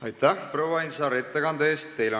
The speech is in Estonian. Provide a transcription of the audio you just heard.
Aitäh, proua Ainsaar, ettekande eest!